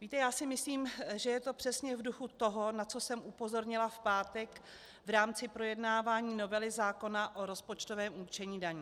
Víte, já si myslím, že je to přesně v duchu toho, na co jsem upozornila v pátek v rámci projednávání novely zákona o rozpočtovém určení daní.